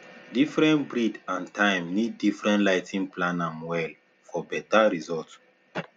different breed and time need different lighting plan am well for better results